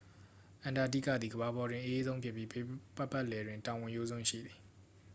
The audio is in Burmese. အန္တာတိကသည် ကမ္ဘာပေါ်တွင် အအေးဆုံးဖြစ်ပြီး ဘေးပတ်ပတ်လည်တွင် တောင်ဝင်ရိုးစွန်း ရှိသည်